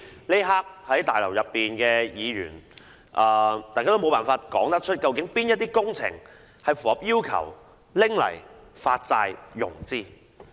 此刻在大樓內的議員都無法說出，究竟哪些工程符合要求用作發債融資。